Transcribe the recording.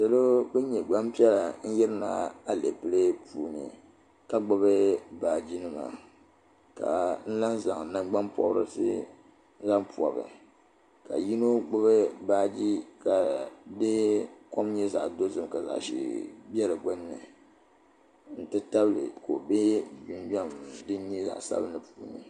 Salo bin nyɛ gbanpiɛla n yirina alɛpilɛ puuni ka gbubi baaji nima ka lan zaŋ nangbanpɔbirisi zaŋ pɔbi ka yino gbubi baaji ka di kɔm nyɛ zaɣa dozim ka zaɣa ʒee bɛ di gbunni n ti tabili ka o bɛ jinjam din nyɛ zaɣa sabinli puuni.